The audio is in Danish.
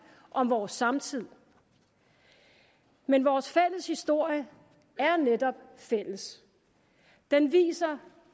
om vores samtid men vores fælles historie er netop fælles den viser